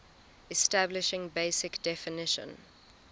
establishing basic definition